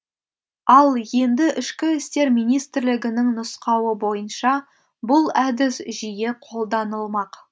ал енді ішкі істер министрлігінің нұсқауы бойынша бұл әдіс жиі қолданылмақ